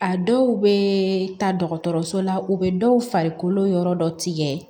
A dɔw bɛ taa dɔgɔtɔrɔso la u bɛ dɔw farikolo yɔrɔ dɔ tigɛ